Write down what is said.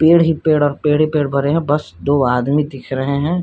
पेड़ ही पेड़ और पेड़े ही पेड़ भरे है बस दो आदमी दिख रहे है।